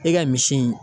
E ka misi in